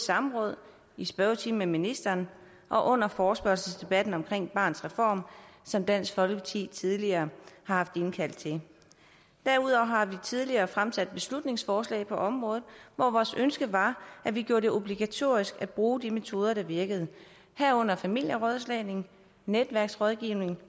samråd i spørgetiden med ministeren og under forespørgselsdebatten om barnets reform som dansk folkeparti tidligere har haft indkaldt til derudover har vi tidligere fremsat beslutningsforslag på området hvor vores ønske var at vi gjorde det obligatorisk at bruge de metoder der virker herunder familierådslagning netværksrådgivning